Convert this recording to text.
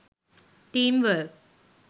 team work